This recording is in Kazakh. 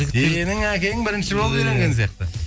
сенің әкең бірінші болып үйленген сияқты